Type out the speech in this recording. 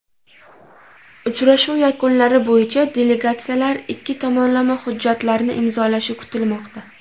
Uchrashuv yakunlari bo‘yicha delegatsiyalar ikki tomonlama hujjatlarni imzolashi kutilmoqda.